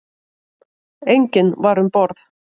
Enginn var um borð.